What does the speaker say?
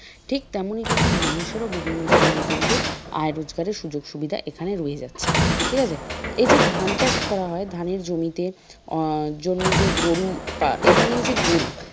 ঠিক তেমনি কিন্ত মানুষেরও বিভিন্ন ধরনের কিন্তু আয় রোজগারের সুযোগ সুবিধা এখানে রয়ে যাচ্ছে ঠিক আছে? এই যে ধান চাষ করা হয় ধানের জমিতে আহ জন্য যে গরু এবারে আসে গরু,